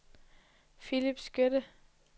Philip Skytte